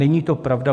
Není to pravda.